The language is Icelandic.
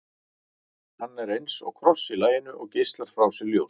hann er eins og kross í laginu og geislar frá sér ljósi